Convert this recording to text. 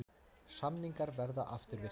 Samningar verði afturvirkir